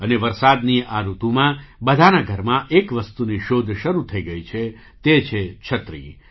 અને વરસાદની આ ઋતુમાં બધાના ઘરમાં એક વસ્તુની શોધ શરૂ થઈ ગઈ છે તે છે 'છત્રી'